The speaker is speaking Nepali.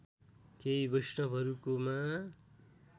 केही वैष्णवहरूकोमा